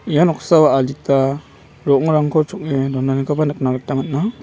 ia noksao adita ro·ongrangko chong·e donanikoba nikna gita man·a.